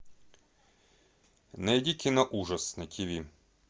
найди кино ужас на тв